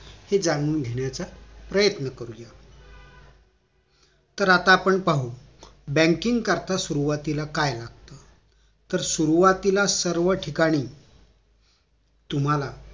हे जाणून घेण्याचा प्रयत्न करूया तर आता आपण पाहू banking करीता सुरुवातीला काय लागत तर सुरुवातीला सर्व ठिकाणी तुम्हाला